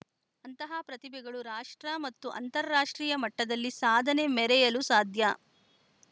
ಅಂತಹ ಪ್ರತಿಭೆಗಳು ರಾಷ್ಟ್ರ ಮತ್ತು ಅಂತಾರಾಷ್ಟ್ರೀಯ ಮಟ್ಟದಲ್ಲಿ ಸಾಧನೆ ಮೆರೆಯಲು ಸಾಧ್ಯ